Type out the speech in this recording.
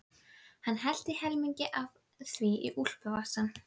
Hann hellti helmingnum af því í úlpuvasann.